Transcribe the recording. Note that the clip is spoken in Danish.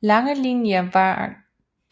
Langelinie var